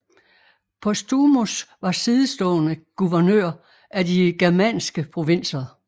Postumus var sidestående guvernør af de germanske provinser